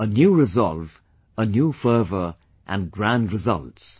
A new resolve, a new fervor and grand results